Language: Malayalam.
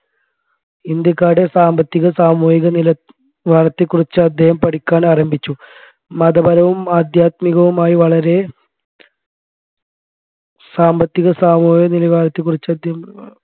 ഇന്ത്യക്കാരുടെ സാമ്പത്തിക സാമൂഹിക നിലവാരത്തെക്കുറിച്ച് അദ്ദേഹം പഠിക്കാൻ ആരംഭിച്ചു മതപരവും അദ്ധ്യാത്മികവുമായി വളരെ സാമ്പത്തിക സാമൂഹിക നിലവാരത്തെ അദ്ദേഹം